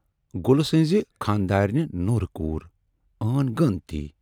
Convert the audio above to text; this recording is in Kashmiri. " گُل سٕنزِ خاندرانہِ نوٗرِؔ کور ٲن غٲن تی۔